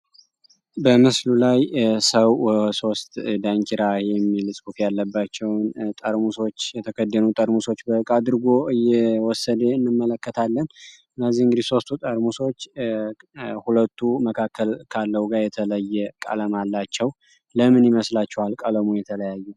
በምስሉ ላይ ሰው ወሶስት ደንኪራ የሚልፅቡፍ ያለባቸውን ጠርሙሶች የተከድኑ ጠርሙሶች በቃአድርጎ እየወሰዴ እንመለከታለን እነዚህ እንግሊስ ሶስቱ ጠርሙሶች ሁለቱ መካከል ካለው ጋር የተለየ ቃለም አላቸው ለምን ይመስላቸው አልቃለሙ የተለያዩ